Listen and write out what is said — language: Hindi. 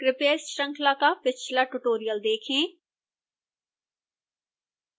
कृपया इस श्रृंखला का पिछला ट्यूटोरियल देखें